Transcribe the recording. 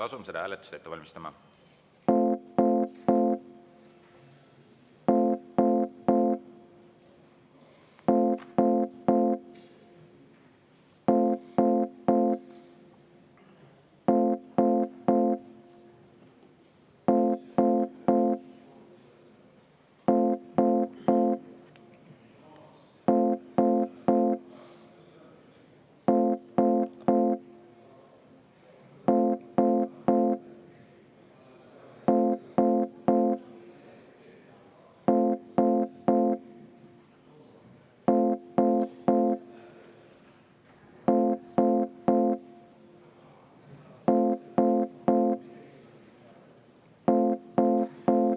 Asume seda hääletust ette valmistama.